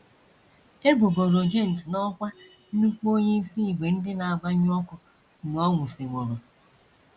E bugoro James n’ọkwá nnukwu onyeisi ìgwè ndị na - agbanyụ ọkụ mgbe ọ nwụsịworo.